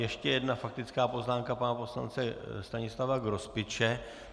Ještě jedna faktická poznámka pana poslance Stanislava Grospiče.